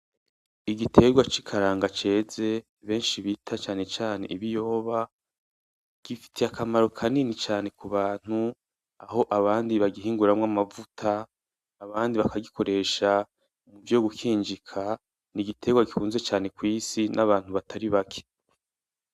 Igiterwa cikaranga ceze benshi bita cane cane ibiyoba. Gifitiye akamaro kanini cane k’ubantu aho ,abandi bangihinguramwo amavuta abandi bakagikoresha ivyo gukinjika n’igiterwa gikuzwe cane kw’isi nabant batari bake.